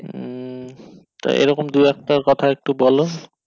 উম তা এরকম দু একটার কথা একটু বোলো